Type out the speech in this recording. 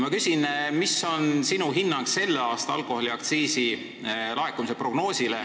Ma küsin, milline on sinu selle aasta alkoholiaktsiisi laekumise prognoos.